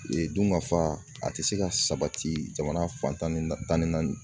dunkafa a tɛ se ka sabati jamana fan tan ni tan ni naani.